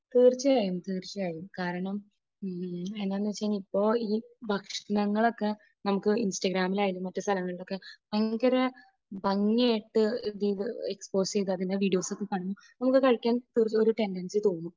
തീർച്ചയായും തീർച്ചയായും. കാരണം എന്നാണെന്ന് വെച്ചാൽ ഇപ്പോൾ ഈ ഭക്ഷണങ്ങൾ ഒക്കെ നമുക്ക് ഇൻസ്റ്റഗ്രാമിൽ ആയാലും മറ്റ് സ്ഥലങ്ങളിൽ ആയാലും ഭയങ്കര ഭംഗിയായിട്ട് എക്സ്പോസ് ചെയ്തു അതിൻറെ വീഡിയോസ് ഒക്കെ കണ്ട് നമുക്ക് കഴിക്കാൻ ഒരു ടെൻടൻസി തോന്നും.